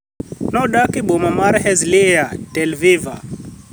nodak eboma mar Herzliya tel viva.